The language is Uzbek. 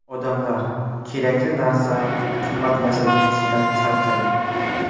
Odamlar kerakli narsa qimmatlayverishidan charchadi.